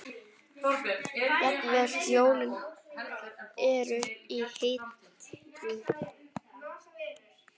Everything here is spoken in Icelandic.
Jafnvel jólin eru í hættu.